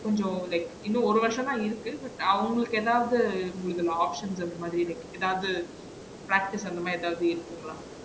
கொஞ்சம் like இன்னும் ஒரு வருஷம் தான் இருக்கு but அவங்களுக்கு எதாவது இந்ததுல option இந்த மாதிரி like எதாவது practice அந்த மாதிரி எதாவது இருக்குங்களா?